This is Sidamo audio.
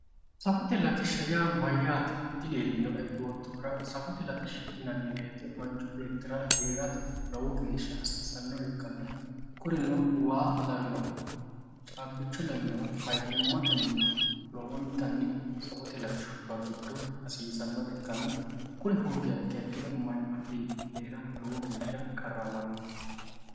Safote latishsha yaa mayate dileelinoe yoottorura safote latishsha yinnani woyte manchu beettira heerate lowo geeshsha hasiisanore ikkanna kurino, waa lawinohu, caabbicho lawinohu, faayimateni lowontannj safote latishshuwa giddo hasiisanore ikkanna kuri hoogiha ikkiro manchi beetti heerate lowo geeshsha qarramano